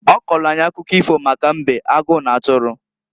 Ọ kọọlụ anyị akụkọ ifo maka mbe, agụ n'atụrụ.